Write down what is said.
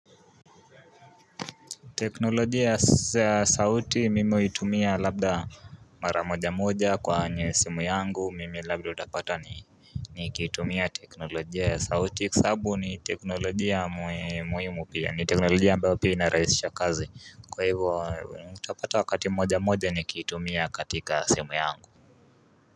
Teknolojia ya sauti mimi hutumia labda mara moja moja kwenye simu yangu mimi labda utapata ni Nikitumia teknolojia ya sauti kwa sababu ni teknolojia muhimu pia ni teknolojia ambayo pia inaraisisha kazi kwa hivyo utapata wakati moja moja nikiitumia katika simu yangu.